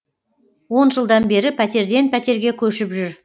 он жылдан бері пәтерден пәтерге көшіп жүр